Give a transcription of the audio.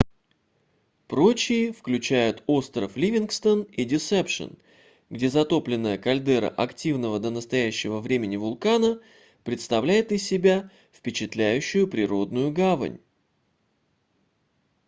прочие включают остров ливингстон и десепшен где затопленная кальдера активного до настоящего времени вулкана представляет из себя впечатляющую природную гавань